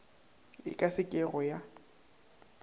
e ka se kego ya